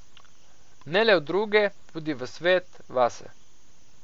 Ne le v druge, tudi v svet, vase.